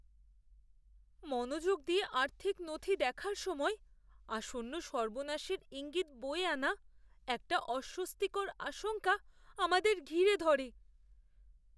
মনোযোগ দিয়ে আর্থিক নথি দেখার সময় আসন্ন সর্বনাশের ইঙ্গিত বয়ে আনা একটা অস্বস্তিকর আশঙ্কা আমাদের ঘিরে ধরে।